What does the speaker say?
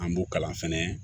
An b'u kalan fɛnɛ